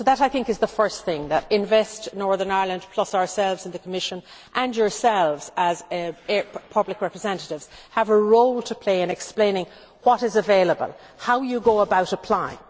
So that is the first thing that Invest Northern Ireland, plus ourselves in the Commission and yourselves as public representatives, have a role to play in explaining what is available, and how you go about applying.